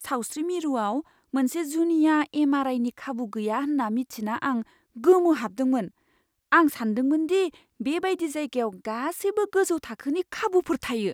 सावस्रि मिरुआव मोनसे जुनिया एम.आर. आइ.नि खाबु गैया होन्ना मिन्थिना आं गोमोहाबदोंमोन। आं सानदोंमोनदि बे बायदि जायगायाव गासैबो गोजौ थाखोनि खाबुफोर थायो।